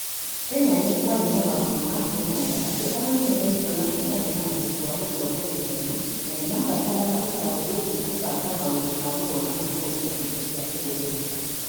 Kenya, nĩ kwarĩ na maũndũ ma kuonania atĩ arori nĩ maiguaga matarĩ na ũhoti wa gũtongoria ciana na nĩ maabataraga ũtaaro wĩgiĩ kũbanga maũndũ ma gũthoma na kũmenya indo cia kũhũthĩra.